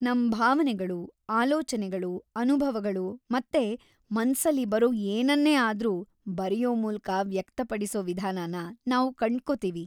ನಮ್ ಭಾವನೆಗಳು, ಆಲೋಚನೆಗಳು, ಅನುಭವಗಳು ಮತ್ತೆ ಮನ್ಸಲ್ಲಿ ಬರೋ ಏನನ್ನೇ ಆದ್ರೂ ಬರೆಯೋ ಮೂಲಕ ವ್ಯಕ್ತಪಡಿಸೋ ವಿಧಾನನ ನಾವು ಕಂಡ್ಕೋತೀವಿ.